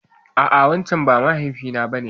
A'a wancen ba mahaifi na ba ne.